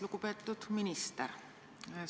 Lugupeetud minister!